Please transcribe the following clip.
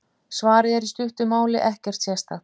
Svarið er í stuttu máli: Ekkert sérstakt!